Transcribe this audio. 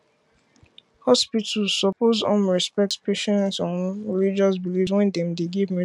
hospitals suppose um respect patients um religious beliefs wen dem dey give medical care